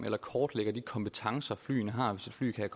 eller kortlægger de kompetencer flyene har hvis et fly kan